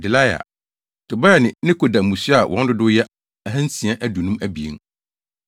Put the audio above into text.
Delaia, Tobia ne Nekoda mmusua a wɔn dodow yɛ 2 652